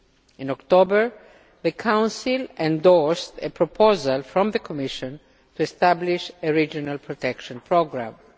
In October the Council endorsed a proposal from the Commission to establish a regional protection programme.